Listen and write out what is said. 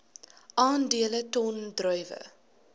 aandele ton druiwe